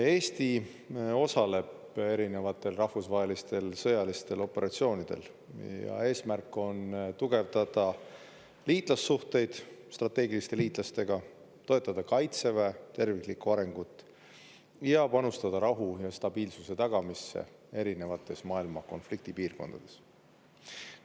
Eesti osaleb erinevatel rahvusvahelistel sõjalistel operatsioonidel, ja eesmärk on tugevdada liitlassuhteid strateegiliste liitlastega, toetada Kaitseväe terviklikku arengut ja panustada rahu ja stabiilsuse tagamisse erinevates maailma konfliktipiirkondades.